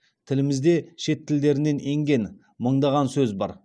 тілімізде шет тілдерінен енген мыңдаған сөз бар